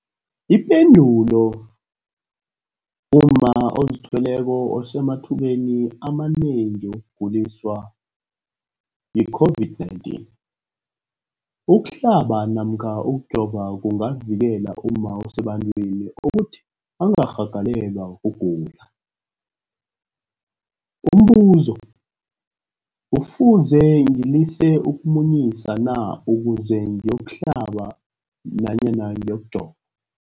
Ipendulo, umma ozithweleko usemathubeni amanengi wokuguliswa yi-COVID-19. Ukuhlaba namkha ukujova kungavikela umma osebantwini ukuthi angarhagalelwa kugula. Umbuzo, kufuze ngilise ukumunyisa na ukuze ngiyokuhlaba namkha ngiyokujova?